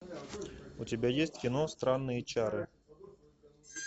у тебя есть кино странные чары